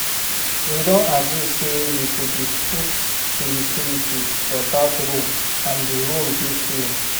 We don agree say we go dey put the utilities for dat room and the room dey clean